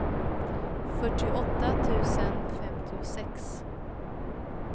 fyrtioåtta tusen femtiosex